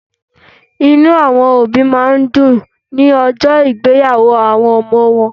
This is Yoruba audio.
Inú àwọn òbí máa ń dùn lójó ìgbéyàwó àwọn ọmọ wọn